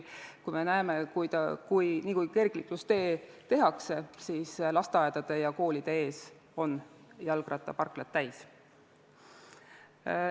Nagu me näeme, siis niipea kui kergliiklustee tehakse, on lasteaedade ja koolide ees jalgrattaparklad täis.